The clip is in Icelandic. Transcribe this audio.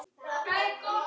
Komdu að dansa